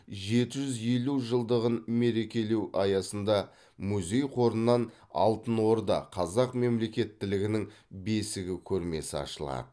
жеті жүз елу жылдығын мерекелеу аясында музей қорынан алтын орда қазақ мемлекеттілігінің бесігі көрмесі ашылады